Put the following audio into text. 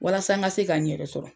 Walasa n ka se ka n yɛrɛ sɔrɔ.